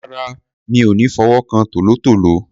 Rárá, mi ò ní fi ọwọ́ kan tòlótòó.